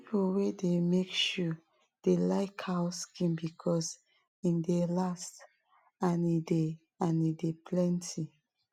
people wey de make shoe dey like cow skin because em dey last and e dey and e dey plenty